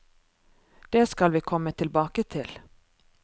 Det skal vi komme tilbake til.